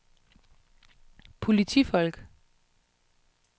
politifolk